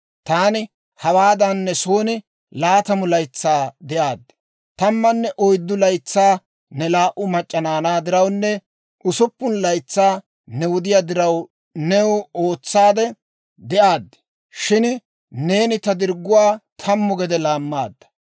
Taani hawaadan ne soon laatamu laytsaa de'aad; tammanne oyddu laytsaa ne laa"u mac'c'a naanaa dirawunne usuppun laytsaa ne wudiyaa diraw new ootsaadde de'aad; shin neeni ta dirgguwaa tammu gede laammaadda.